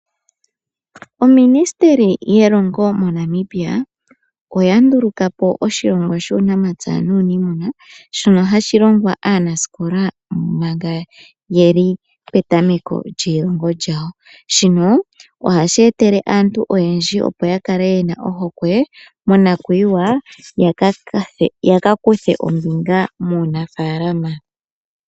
Oministeli yelongo mo Namibia oya ndulukapo oshilongwa shuunamapya nuuniimuna shono hashi longwa aanasikola manga yeli petameko lyeilongo lyawo. Shino ohashi etele aantu oyendji opo ya kale yena ohokwe monakwiwa yaka kuthe ombinga muunafalama.